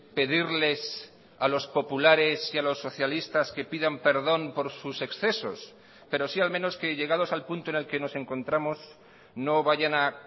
pedirles a los populares y a los socialistas que pidan perdón por sus excesos pero si al menos que llegados al punto en el que nos encontramos no vayan a